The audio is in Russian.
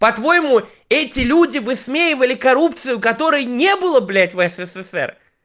по-твоему эти люди высмеивали коррупцию которой не было блядь в ссср